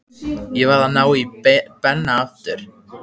Ég varð að ná í Benna áður.